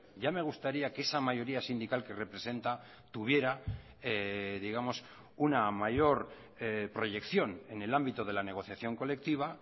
ya me gustaría que esa mayoría sindical que representa tuviera digamos una mayor proyección en el ámbito de la negociación colectiva